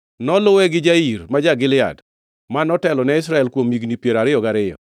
Noluwe gi Jair ma ja-Gilead, ma notelo ne Israel kuom higni piero ariyo gariyo.